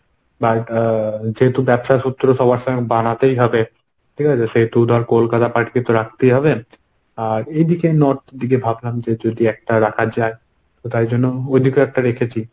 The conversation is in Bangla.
বা টা যেহেতু ব্যবসা সূত্র সবার সঙ্গে বানাতেই হবে ঠিকাছে? সেহেতু ধর কলকাতা party কে তো রাখতেই হবে। আর এই দিকে north দিকে ভাবলাম যে যদি একটা রাখা যায়, তাই জন্য ওইদিকেও একটা রেখেছি।